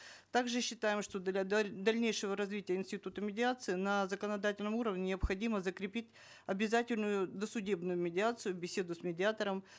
также считаем что для дальнейшего развития института медиации на законодательном уровне необходимо закрепить обязательную досудебную медиацию беседу с медиатором